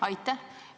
Aitäh!